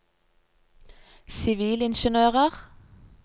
sivilingeniører